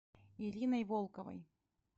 ириной волковой